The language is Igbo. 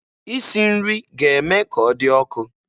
Isi nri ga-eme ka ọ dị ọkụ